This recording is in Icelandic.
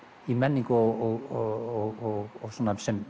í menningu og sem